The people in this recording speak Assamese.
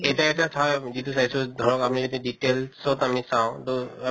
এটা এটা ঠাই যিটো চাইছো ধৰক আমি যদি details ত আমি চাওঁ দʼ আ